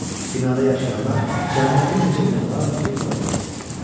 Binada yaşayanlar cəmi bir neçə gün olardı ki, buraya köçmüşdülər.